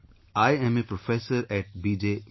Sir, I am a Professor at B